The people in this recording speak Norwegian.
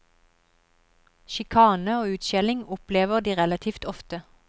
Sjikane og utskjelling opplever de relativt ofte.